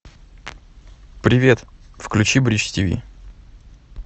привет включи бридж тв